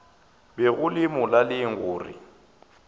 be go le molaleng gore